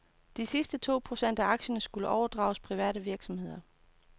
De sidste to procent af aktierne skulle overdrages private virksomheder.